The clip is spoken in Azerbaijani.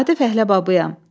Adi fəhlə babıyam.